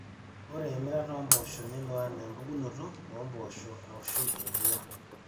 ore emirata oompoosho nelo enaa empukunoto oompoosho aashu emua